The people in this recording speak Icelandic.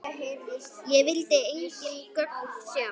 Sá vildi engin gögn sjá.